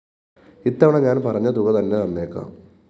ഇത്തവണ ഞാന്‍ പറഞ്ഞതുക തന്നെതന്നേക്കാം